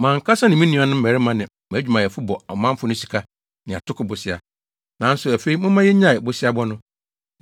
Mʼankasa ne me nuanom mmarima ne mʼadwumayɛfo bɔ ɔmanfo no sika ne atoko bosea, nanso afei momma yennyae boseabɔ no.